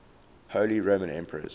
holy roman emperors